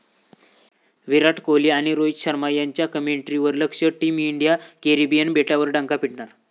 विराट कोहली आणि रोहित शर्मा यांच्या केमिस्ट्रीवर लक्ष, टीम इंडिया कॅरेबियन बेटांवर डंका पिटणार?